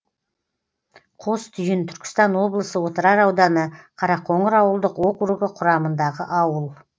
қостүйін түркістан облысы отырар ауданы қарақоңыр ауылдық округі құрамындағы ауыл